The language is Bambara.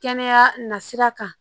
Kɛnɛya nasira kan